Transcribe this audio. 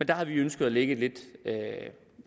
der havde vi ønsket at lægge et